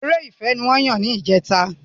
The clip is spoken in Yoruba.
Eré ìfẹ ni wọ́n yà ní ìjẹta